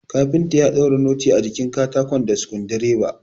Kafinta ya daura noti a jikin katako da sukudireba